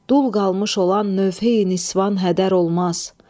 Dul qalmış olan nöfhi nisvan hədər olmaz.